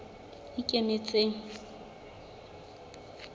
ikemetseng